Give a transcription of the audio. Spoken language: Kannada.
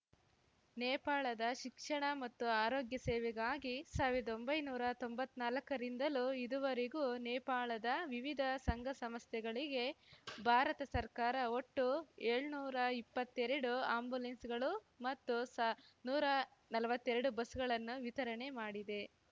ನೇಪಾಳದ ಶಿಕ್ಷಣ ಮತ್ತು ಆರೋಗ್ಯ ಸೇವೆಗಾಗಿ ಸಾವಿರ್ದೊಂಬಯ್ಯನೂರಾ ತೊಂಬತ್ನಾಲಕ್ಕರಿಂದಲೂ ಇದುವರೆಗೂ ನೇಪಾಳದ ವಿವಿಧ ಸಂಘಸಂಸ್ಥೆಗಳಿಗೆ ಭಾರತ ಸರ್ಕಾರ ಒಟ್ಟು ಏಳ್ನೂರಾ ಇಪ್ಪತ್ತೆರಡು ಆಂಬುಲೆನ್ಸ್‌ಗಳು ಮತ್ತು ಸಾ ನೂರಾ ನಲ್ವತ್ತೆರಡು ಬಸ್‌ಗಳನ್ನು ವಿತರಣೆ ಮಾಡಿದೆ